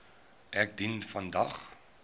ek dien vandag